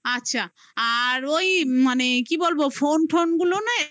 আচ্ছা. আর ওই মানে কি বলবো? phone টোনগুলো নে. উম. টিক